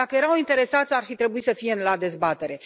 Dacă erau interesați, ar fi trebuit să fie la dezbatere.